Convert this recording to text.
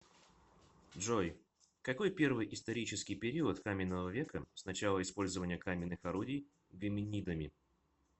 джой какой первый исторический период каменного века с начала использования каменных орудий гоминидами